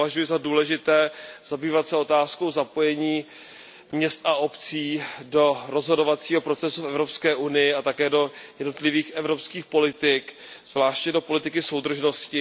Považuji za důležité zabývat se otázkou zapojení měst a obcí do rozhodovacího procesu v Evropské unii a také do jednotlivých evropských politik, zvláště do politiky soudržnosti.